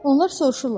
Onlar soruşurlar: